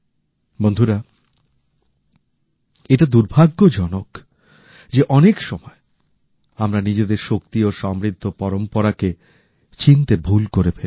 বন্ধুরা এটা দুর্ভাগ্যজনক যে অনেক সময় আমরা নিজেদের শক্তি ও সমৃদ্ধ পরম্পরা কে চিনতে ভুল করে ফেলি